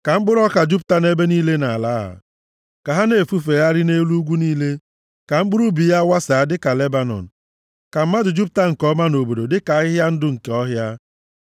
Ka mkpụrụ ọka jupụta nʼebe niile nʼala a; ka ha na-efufegharị nʼelu ugwu niile. Ka mkpụrụ ubi ya wasaa dịka Lebanọn; ka mmadụ jupụta nke ọma nʼobodo dịka ahịhịa ndụ nke ọhịa.